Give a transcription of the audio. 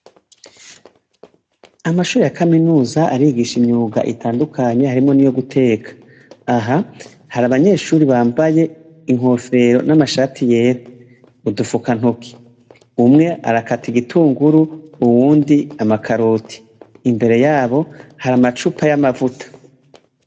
Amashure ya kaminuza arigisha imyuga itandukamye harimwo n'iyo guteka. Aha hari abanyeshure bambaye inkofero n'amashati yera, udufukantoki. Umwe arakata igitunguru uwundi amakaroti. Imbere yabo hari amacupa y'amavuta.